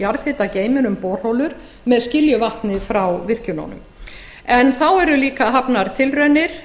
um borholur ofan í jarðhitageyminn með skiljuvatni frá virkjununum þá eru líka hafnar tilraunir